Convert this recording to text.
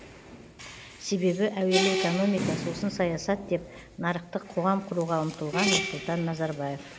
себебі әуелі экономика сосын саясат деп нарықтық қоғам құруға ұмтылған нұрсұлтан назарбаев